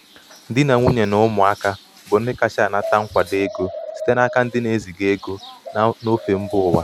di na nwunye na ụmụaka na ụmụaka bụ ndị kacha anata nkwado ego site n’aka ndị na-eziga ego n’ofe mba ụwa.